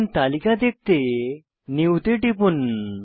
এখন তালিকা দেখতে নিউ তে টিপুন